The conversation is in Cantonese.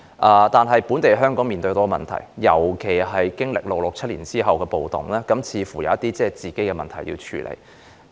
可是，當時的香港，尤其在經歷了六七暴動後，似乎也有一些自身問題需要處理。